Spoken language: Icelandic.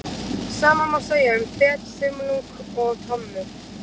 Sama má segja um fet, þumlung og tommu.